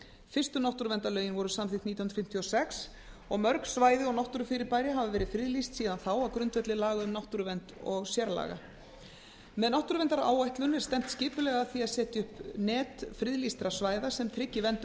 fyrstu náttúruverndarlögin voru samþykkt nítján hundruð fimmtíu og sex og mörg svæði og náttúrufyrirbæri hafa verið friðlýst síðan þá á grundvelli laga um náttúruvernd og sérlaga með náttúruverndaráætlun er stefnt skipulega af því að setja upp net friðlýstra svæða sem tryggi verndun